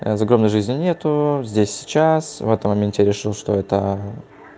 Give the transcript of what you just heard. а закона жизни нет здесь и сейчас в этом моменте решил что это